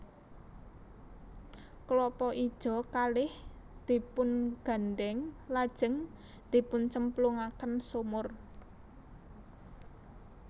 Klapa ijo kalih dipungandhèng lajeng dipuncemplungaken sumur